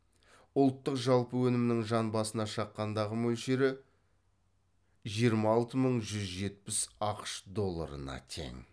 ұлттық жалпы өнімнің жан басына шаққандағы мөлшері жиырма алты мың жүз жетпіс ақш долларына тең